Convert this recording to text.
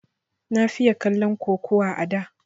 Na fiye kallon kukuwa a da